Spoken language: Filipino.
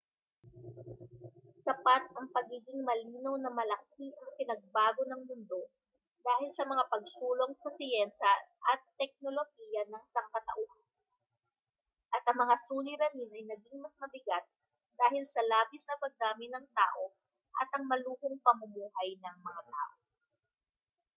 sapat ang pagiging malinaw na malaki ang ipinagbago ng mundo dahil sa mga pagsulong sa siyensiya at teknolohiya ng sangkatauhan at ang mga suliranin ay naging mas mabigat dahil sa labis na pagdami ng tao at ang maluhong pamumuhay ng mga tao